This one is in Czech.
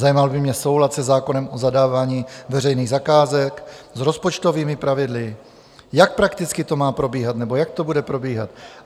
Zajímal by mě soulad se zákonem o zadávání veřejných zakázek, s rozpočtovými pravidly, jak prakticky to má probíhat nebo jak to bude probíhat?